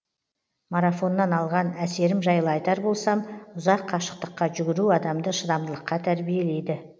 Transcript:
марафоннан алған әсерім жайлы айтар болсам ұзақ қашықтыққа жүгіру адамды шыдамдылыққа тәрбиелейді